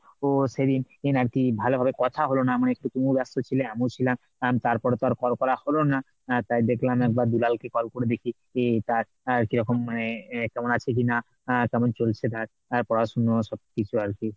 ও সেই~ দিন আর কি ভালোভাবে কথা হলো না মানে একটু তুমিও ব্যস্ত ছিলে আমিও ছিলাম তারপরে তো আর call করা হলো না আহ তাই দেখলাম একবার দুলালকে call করে দেখি। তা আহ র কি রকম মানে কেমন আছে কিনা? আহ কেমন চলছে তার তার পড়াশুনা সবকিছু আর কি।